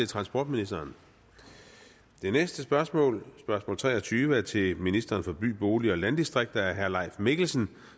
transportministeren det næste spørgsmål spørgsmål tre og tyve er til ministeren for by bolig og landdistrikter af herre leif mikkelsen